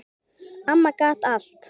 Amma gat allt.